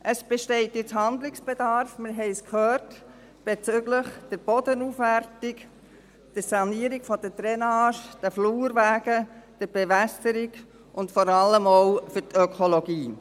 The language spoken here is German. Es besteht nun Handlungsbedarf – wir haben es gehört – bezüglich der Bodenaufwertung, der Sanierung der Drainage, der Flurwege, der Bewässerung und vor allem auch für die Ökologie.